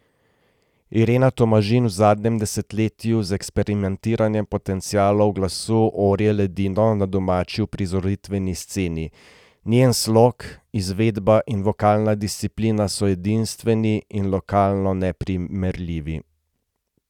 Irena Tomažin v zadnjem desetletju z eksperimentiranjem potencialov glasu orje ledino na domači uprizoritveni sceni, njen slog, izvedba in vokalna disciplina so edinstveni in lokalno neprimerljivi.